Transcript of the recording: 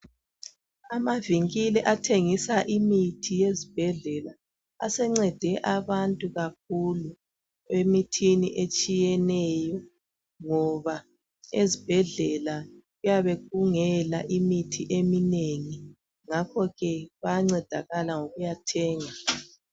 Amavenkeli athengisa imithi yezibhedlela asencede abantu kakhulu emithini etshiyeneyo, ngoba ezibhedlela kuyabe kungela imithi eminengi. Ngakho ke bayancedakala ngokuya thenga.